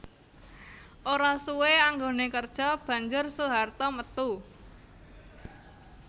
Ora suwé anggoné kerja banjur Soeharto metu